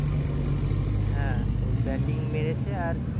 হ্যাঁ batting মেরেছে আর